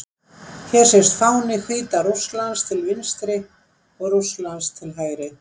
Hér sést fáni Hvíta-Rússlands til vinstri og Rússlands til hægri.